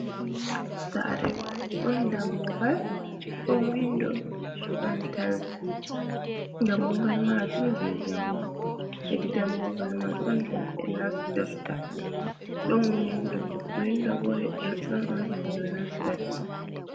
Saare, ɗon dammugal, ɗon winndo, dammugal maajum jey njamndi, hedi dammugal man on himɓe nastirta, ɗon windo bo her ɗonɗon henndu nastata.